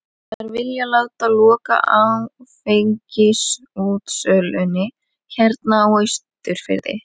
Þær vilja láta loka áfengisútsölunni hérna á Austurfirði!